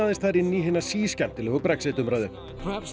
þar inn í hina Brexit umræðu